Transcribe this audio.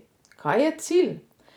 Kaj je cilj?